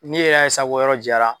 Ni yɛrɛ ye sa ko yɔrɔ jara